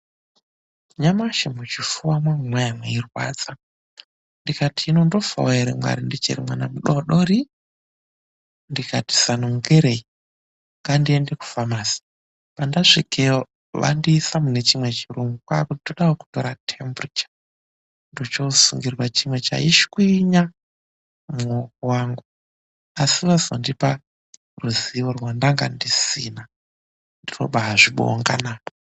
"Nyamashi muchifuwa mwangu mwanga mweirwadza, ndikati hino ndofawo ere mwari ndichiri mwana mudodori! Ndikati zano ngerei, ngandiende kufamasi." "Pandasvikeyo vandiisa mune chimwe chirumu kwaakuti toda kukutora temburicha. Ndochosungirwa chiro chaiswinya mumuwoko wangu, asi vazondipa ruzivo randanga ndisina, ndinobaazvibonga naa."